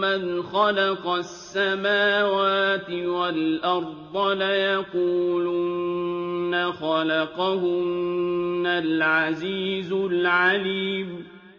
مَّنْ خَلَقَ السَّمَاوَاتِ وَالْأَرْضَ لَيَقُولُنَّ خَلَقَهُنَّ الْعَزِيزُ الْعَلِيمُ